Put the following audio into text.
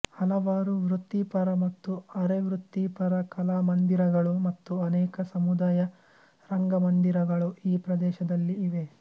ಹಲವಾರು ವೃತ್ತಿಪರ ಮತ್ತು ಅರೆವೃತ್ತಿಪರ ಕಲಾಮಂದಿರಗಳು ಮತ್ತು ಅನೇಕ ಸಮುದಾಯ ರಂಗಮಂದಿರಗಳು ಈ ಪ್ರದೇಶದಲ್ಲಿ ಇವೆ